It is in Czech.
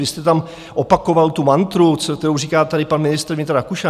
Vy jste tam opakoval tu mantru, kterou říká tady pan ministr vnitra Rakušan.